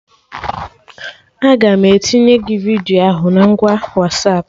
Aga m etinye gị vidiyo ahụ na ngwa Wasapụ